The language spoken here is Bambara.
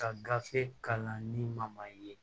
Ka gafe kalan ni ma ye